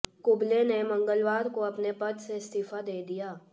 कुंबले ने मंगलवार को अपने पद से इस्तीफा दे दिया